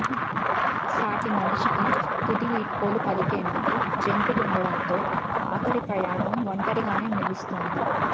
సాటి మనిషికి తుది వీడ్కోలు పలికేందుకూ జంకుతుండటంతో ఆఖరి ప్రయాణం ఒంటరిగానే ముగుస్తోంది